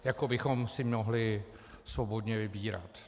Jako bychom si mohli svobodně vybírat.